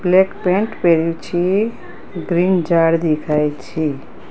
Black pant પહેર્યું છે green ઝાડ દેખાય છે.